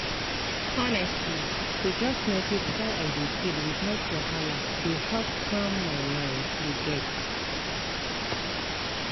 honestly to just notice how i dey feel without wahala dey help calm my mind you get?